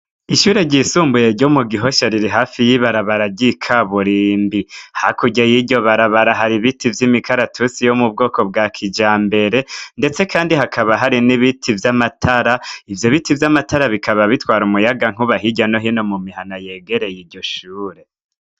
Ishure ryisumbuye ryo mu Gihosha riri hafi y’ibarabara ry’ikaburimbi. Hakurya yiryo barabara hari ibiti vyimikaratusi yo mubwoko bwa kijambere ndetse kandi hakaba hari n’ibiti vy’amatara, ivyo biti vy’amatara bikaba bitwara umuyaga nkuba hirya no hino mumihana yegereye iryo shure.